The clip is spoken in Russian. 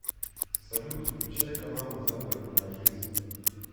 салют включай каналы загородная жизнь